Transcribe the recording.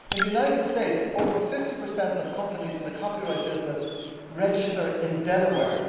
In the United States over 50 of companies in the copyright business register in Delaware.